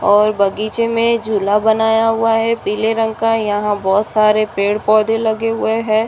और बगीचे में झूला बनाया हुआ है पीले रंग का। यहाँ बोहोत सारे पेड़-पौधे लगे हुए हैं।